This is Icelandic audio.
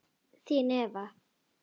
Þín Eva